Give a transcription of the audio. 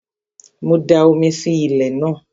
Mo da omi sí ilẹ̀ ní àná